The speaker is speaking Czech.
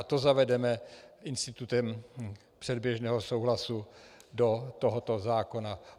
A to zavedeme institutem předběžného souhlasu do tohoto zákona.